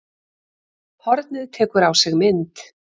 Hornið tekur á sig mynd